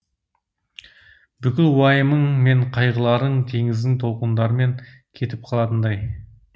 бүкіл уайымың мен қайғыларың теңіздің толқындармен кетіп қалатындай